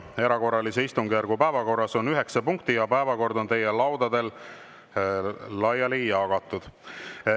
Erakorralise istungjärgu päevakorras on üheksa punkti ja päevakord on teie laudadele laiali jagatud.